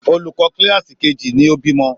Olùkọ́ kíláàsì kejì ni ó bímọ.